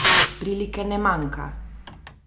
Prilike ne manjka!